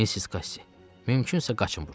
Missis Qassi, mümkünsə qaçın burdan.